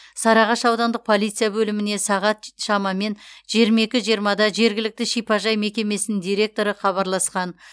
сарыағаш аудандық полиция бөліміне сағат шамамен жиырма екі жиырмада жергілікті шипажай мекемесінің директоры хабарласқан